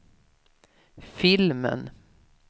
filmen